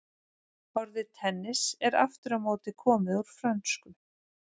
Orðið tennis er aftur á móti komið úr frönsku.